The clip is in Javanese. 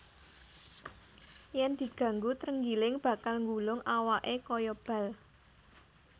Yèn diganggu trenggiling bakal nggulung awaké kaya bal